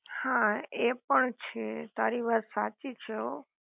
હા એ પણ છે તારી વાત સાચી છે હો